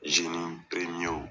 Zeni piremiyew